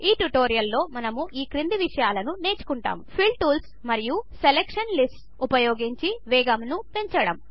ఈ ట్యుటోరియల్లో మనము ఈ క్రింది విషయాలను నేర్చుకుంటాము ఫిల్ టూల్స్ మరియు సెలక్షన్ లిస్ట్స్ ఉపయోగించి వేగమును పంచడం